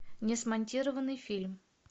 несмонтированный фильм